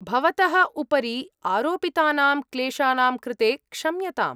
भवतः उपरि आरोपितानां क्लेशानां कृते क्षम्यताम्।